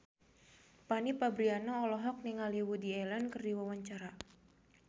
Fanny Fabriana olohok ningali Woody Allen keur diwawancara